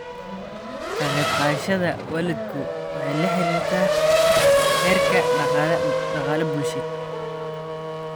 Ka qaybqaadashada waalidku waxay la xiriirtaa heerka dhaqaale-bulsheed.